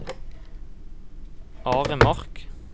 Aremark